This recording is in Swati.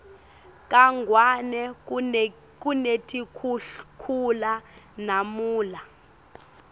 kangwane kunetikhukhula namunla